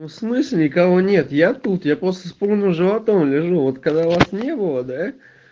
ну в смысле никого нет я тут я просто вспомнил животом лежу вот когда вас не было да